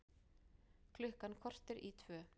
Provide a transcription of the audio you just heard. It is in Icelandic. Klukkan korter í tvö